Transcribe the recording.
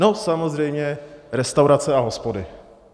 No samozřejmě restaurace a hospody.